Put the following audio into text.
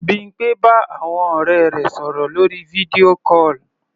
Bímpé bá àwọn ọ̀rẹ́ rẹ̀ sọ̀rọ̀ lórí video call.